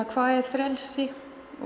hvað er frelsi